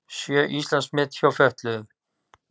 Sjö Íslandsmet hjá fötluðum